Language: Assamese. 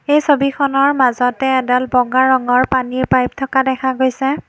এই ছবিখনৰ মাজতে এডাল বগা ৰঙৰ পানীৰ পাইপ থকা দেখা গৈছে।